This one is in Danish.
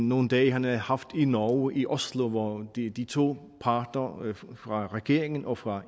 nogle dage han havde haft i norge i oslo hvor de de to parter fra regeringen og fra